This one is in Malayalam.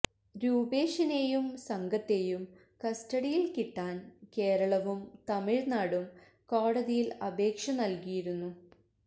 രൂപേഷിനെയും സംഘത്തെയും കസ്റ്റഡിയില് കിട്ടാന് കേരളവും തമിഴ്നാടും കോടതിയില് അപേക്ഷ നല്കിയിരുന്നു